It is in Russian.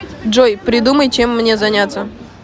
джой придумай чем мне заняться